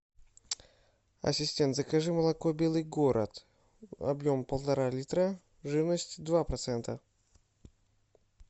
ассистент закажи молоко белый город объем полтора литра жирность два процента